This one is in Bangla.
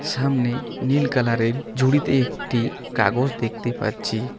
সামনে নীল কালারের ঝুড়িতে একটি কাগজ দেখতে পাচ্ছি।